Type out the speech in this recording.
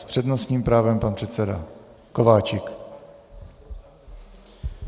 S přednostním právem pan předseda Kováčik.